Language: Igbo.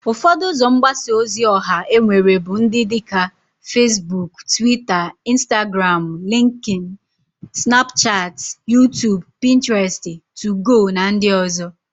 Ufodo uzo mgbasa ozi oha enwere bu ndi dika Fesbuk, Twita, Instagramu, Linkin, snapuchati, Yutubu, Pinteresti, Tugo, na ndi ozo.